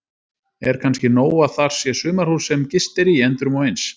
Er kannski nóg að þar sé sumarhús sem gist er í endrum og eins?